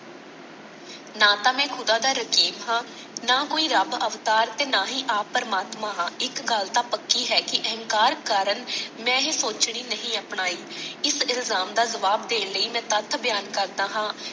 ਨਾ ਤਾ ਮੈਂ ਖੁਦਾ ਦਾ ਰਕੀਫ਼ ਹਾਂ, ਨਾ ਕੋਈ ਰੱਬ ਅਵਤਾਰ ਤੇ ਨਾ ਹੀ ਆਪ ਪ੍ਰਮਾਤਮਾ ਹਾਂ। ਇਕ ਗੱਲ ਤਾਂ ਪੱਕੀ ਹੈ ਕਿ ਅਹੰਕਾਰ ਕਾਰਨ ਮੈਂ ਇਹ ਸੋਚਣੀ ਨਹੀਂ ਅਪਣਾਈ। ਇਸ ਇਲਜ਼ਾਮ ਦਾ ਜਵਾਬ ਦੇਣ ਲਈ ਮੈਂ ਤੱਥ ਬਿਆਨ ਕਰਦਾ ਹਾਂ।